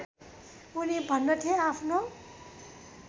उनी भन्दथे आफ्नो